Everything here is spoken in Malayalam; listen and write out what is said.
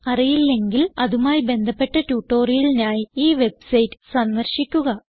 അറിയില്ലെങ്കിൽ അതുമായി ബന്ധപ്പെട്ട ട്യൂട്ടോറിയലിനായി ഈ വെബ്സൈറ്റ് സന്ദർശിക്കുക